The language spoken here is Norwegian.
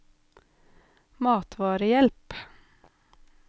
matvarehjelp